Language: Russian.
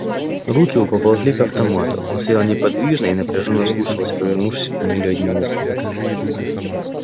руки его поползли к автомату он стоял неподвижно и напряжённо вслушивался повернувшись к туннелю одним ухом